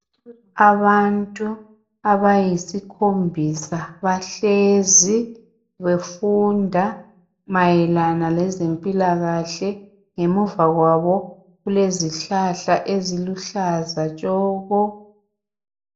Abantu abayisikhombisa bahlezi befunda mayelana lezempilakahle ngemuva kwabo kulezihlahla eziluhlaza tshoko.